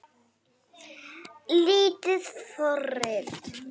Lítil forrit